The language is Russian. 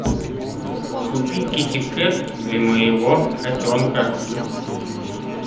купи китикет для моего котенка